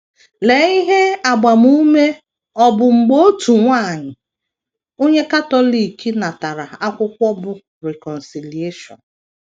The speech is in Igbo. Lee ihe agbamume ọ bụ mgbe otu nwanyị onye Katọlik natara akwụkwọ bụ́ Reconciliaton!